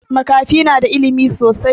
Makafi na da ilimi sosai